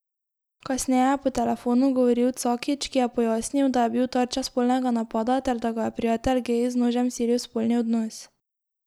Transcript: Kasneje je po telefonu govoril Cakić, ki je pojasnil, da je bil tarča spolnega napada ter da ga je prijatelj gej z nožem silil v spolni odnos.